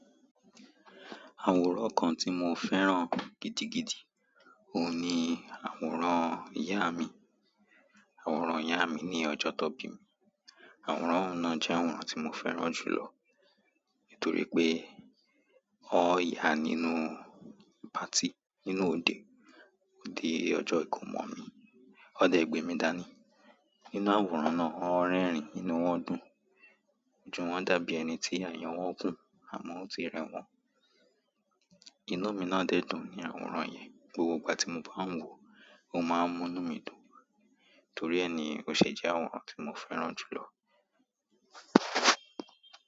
Àwòrán kan ti mo fẹ́ràn gidigidi, oun ni àwòrán iya mi àwòrán ìyá mi ní ọjọ́ tan bí mi. Àwòrán ọ̀un náà jẹ́ àwòrán tí mo fẹ́ràn jù lọ. Nítorí pé, wọ̀n ya nínú patí nínú òde, òde ọjọ́ ìkómọ mi. Won dẹ̀ gbémi dání. Nínú àwòrán náà, wọ̀n rẹ́rìn ínú wọ́n dùn. So wọ́n dàbí ẹni tí àyo wọ́n kùn, àmọ́ ó ti rẹ wọ́n. Inú mi náà dẹ̀ dùn ní àwòrán yẹn. Gbogbo ìgbà tí mo bá ń wò ó, mó máa ń múnú mi dùn. Torí ẹ ni ó ṣe jẹ́ àwòrán tí mo fẹ́ràn jù lọ.